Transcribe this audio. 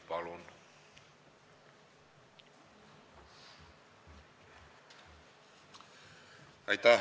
Palun!